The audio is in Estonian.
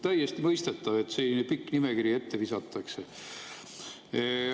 Täiesti mõistetav, et selline pikk nimekiri ette visatakse.